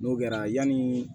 N'o kɛra yani